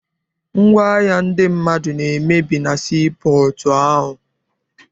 Ngwaahịa ndị mmadụ na-emebi na sii pọọtụ ahụ.